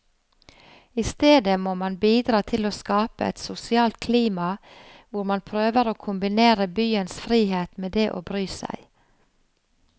I stedet må man bidra til å skape et sosialt klima hvor man prøver å kombinere byens frihet med det å bry seg.